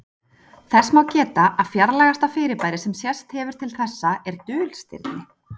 Þess má geta að fjarlægasta fyrirbæri sem sést hefur til þessa er dulstirni.